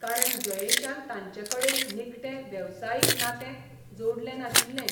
कारण जयेशान तांचेकडेन निखटें वेवसायीक नातें जोडलें नाशिल्लें.